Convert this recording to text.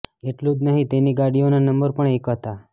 એટલું જ નહીં તેની ગાડીઓનાં નંબર પણ એક હતા